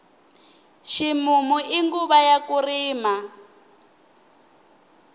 ximumu i nguva ya ku rima